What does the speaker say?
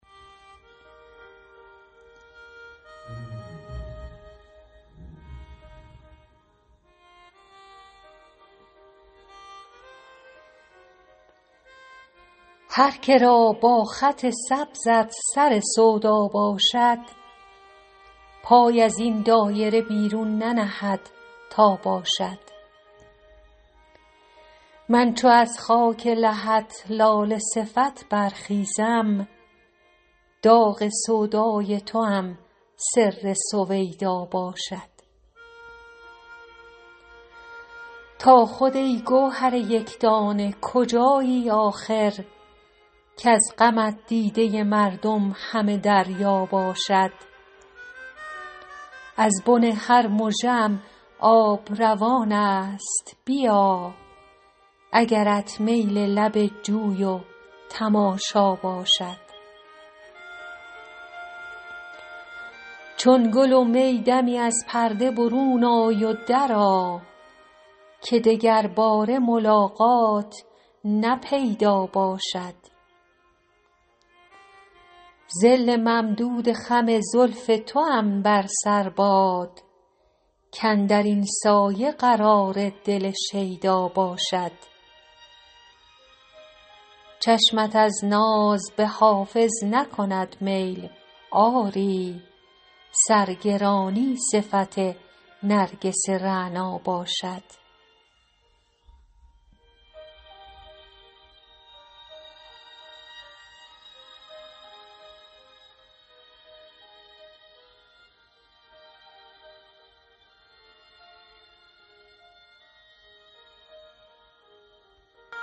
هر که را با خط سبزت سر سودا باشد پای از این دایره بیرون ننهد تا باشد من چو از خاک لحد لاله صفت برخیزم داغ سودای توام سر سویدا باشد تو خود ای گوهر یک دانه کجایی آخر کز غمت دیده مردم همه دریا باشد از بن هر مژه ام آب روان است بیا اگرت میل لب جوی و تماشا باشد چون گل و می دمی از پرده برون آی و درآ که دگرباره ملاقات نه پیدا باشد ظل ممدود خم زلف توام بر سر باد کاندر این سایه قرار دل شیدا باشد چشمت از ناز به حافظ نکند میل آری سرگرانی صفت نرگس رعنا باشد